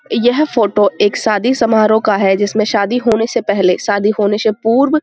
यह फ़ोटो एक शादी समारोह का है जिसमें शादी होने से पहले शादी होने से पूर्व --